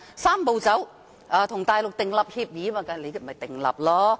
"三步走"、與內地訂立協議，就這樣做吧。